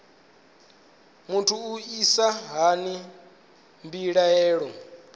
muthu u isa hani mbilaelo